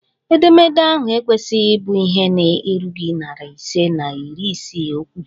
Edemede ahụ ekwesịghị ịbụ ihe na-erughị narị ise na iri isii okwu!